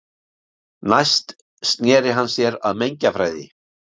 Næst sneri hann sér að mengjafræði.